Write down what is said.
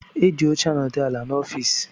Eji óche anodu ala n' ọffici.